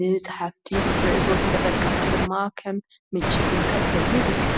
ንፀሓፍቲ ከም እቶት ንተጠቀምቲ ድማ ከም ምንጪ ፍልጠት ኮይና ተገልግል።